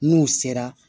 N'u sera